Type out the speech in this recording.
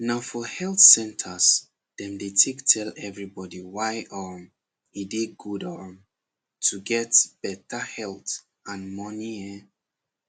na for health centres dem take tell everybody why um e dey good um to get better health and money ehn